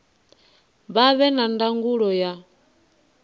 vha vhe na ndangulo ya